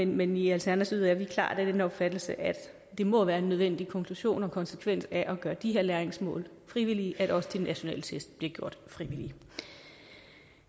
men i alternativet er vi klart af den opfattelse at det må være en nødvendig konklusion og konsekvens af at gøre de her læringsmål frivillige at også de nationale test bliver gjort frivillige